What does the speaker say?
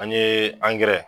An ɲe